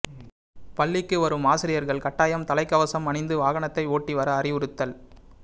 பள்ளிக்கு வரும் ஆசிரியர்கள் கட்டாயம் தலைக்கவசம் அணிந்து வாகனத்தை ஓட்டி வர அறிவுறுத்தல்